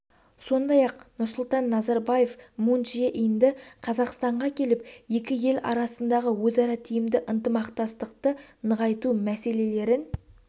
сондай-ақ нұрсұлтан назарбаев мун чже инді қазақстанға келіп екі ел арасындағы өзара тиімді ынтымақтастықты нығайту мәселелерін